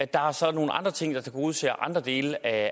der er så nogle andre ting der tilgodeser andre dele af